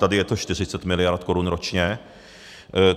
Tady je to 40 mld. korun ročně.